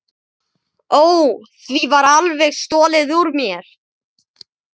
Ó, því var alveg stolið úr mér.